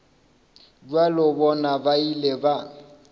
bja bona ba ile ba